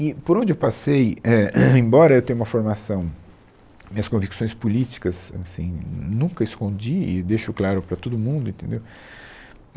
E por onde eu passei, é, embora eu tenha uma formação, minhas convicções políticas, assim, nunca escondi e deixo claro para todo mundo, entendeu?